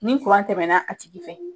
Ni kuran tɛmɛna a tigi fɛ